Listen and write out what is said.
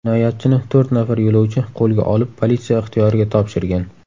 Jinoyatchini to‘rt nafar yo‘lovchi qo‘lga olib, politsiya ixtiyoriga topshirgan.